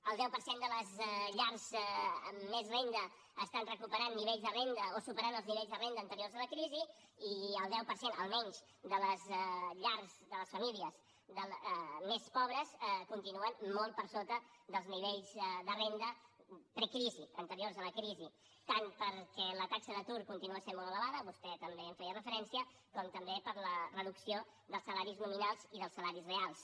el deu per cent de les llars amb més renda estan recuperant nivells de renda o superant els nivells de renda anteriors a la crisi i el deu per cent almenys de les llars de les famílies més pobres continuen molt per sota dels nivells de renda precrisi anteriors a la crisi tant perquè la taxa d’atur continua sent molt elevada vostè també hi feia referència com també per la reducció dels salaris nominals i dels salaris reals